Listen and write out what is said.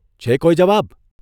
છે કોઇ જવાબ?